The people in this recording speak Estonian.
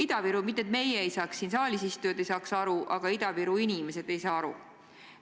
Ma ei taha öelda, et meie, siin saalis istujad, ei saa aru, aga Ida-Viru inimesed ei saa aru.